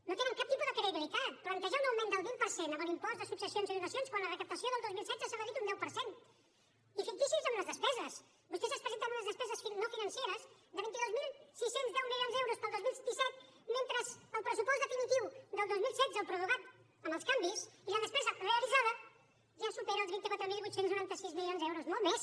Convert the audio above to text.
no tenen cap tipus de credibilitat plantejar un augment del vint per cent en l’impost de successions i donacions quan la recaptació del dos mil setze s’ha reduït un deu per cent i ficticis amb les despeses vostès ens presenten unes despeses no financeres de vint dos mil sis cents i deu milions d’euros per al dos mil disset mentre que el pressupost definitiu del dos mil setze el prorrogat amb els canvis i la despesa realitzada ja supera els vint quatre mil vuit cents i noranta sis milions d’euros molt més